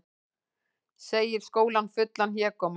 Segir skólann fullan hégóma